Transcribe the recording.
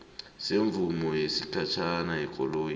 semvumo yesikhatjhana yekoloyi